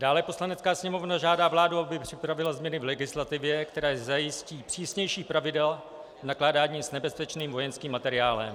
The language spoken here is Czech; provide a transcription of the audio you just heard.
Dále Poslanecká sněmovna žádá vládu, aby připravila změny v legislativě, které zajistí přísnější pravidla nakládání s nebezpečným vojenským materiálem.